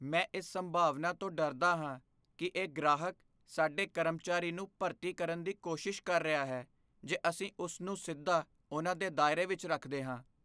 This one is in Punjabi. ਮੈਂ ਇਸ ਸੰਭਾਵਨਾ ਤੋਂ ਡਰਦਾ ਹਾਂ ਕਿ ਇਹ ਗ੍ਰਾਹਕ ਸਾਡੇ ਕਰਮਚਾਰੀ ਨੂੰ ਭਰਤੀ ਕਰਨ ਦੀ ਕੋਸ਼ਿਸ਼ ਕਰ ਰਿਹਾ ਹੈ ਜੇ ਅਸੀਂ ਉਸ ਨੂੰ ਸਿੱਧਾ ਉਨ੍ਹਾਂ ਦੇ ਦਾਇਰੇ ਵਿੱਚ ਰੱਖਦੇ ਹਾਂ।